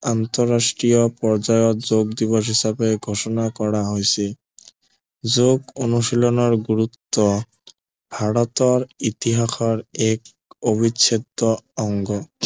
আন্তৰাষ্ট্ৰীয় পৰ্যায়ত যোগ দিৱস হিচাপে ঘোষণা কৰা হৈছে যোগ অনুশীলনৰ গুৰুত্ব ভাৰতৰ ইতিহাসৰ এক অবিচ্ছেদ্য় অংগ